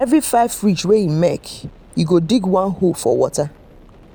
every five ridge wey him make e go dig one hole for water.